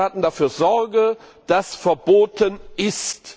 die Mitgliedstaaten dafür Sorge, dass verboten ist